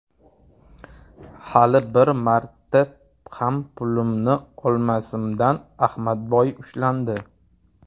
Hali bir marta ham pulimni olmasimdan, Ahmadboy ushlandi.